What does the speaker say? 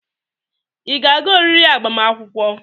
Ị ga-aga oriri agbamakwụkwọ?